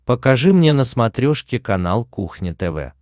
покажи мне на смотрешке канал кухня тв